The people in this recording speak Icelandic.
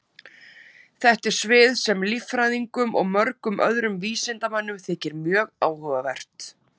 Þetta er svið sem líffræðingum og mörgum öðrum vísindamönnum þykir mjög áhugavert.